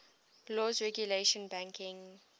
laws regulating banking